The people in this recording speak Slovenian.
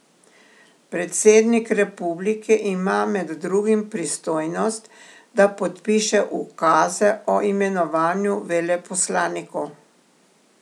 Predsednik republike ima med drugim pristojnost, da podpiše ukaze o imenovanju veleposlanikov.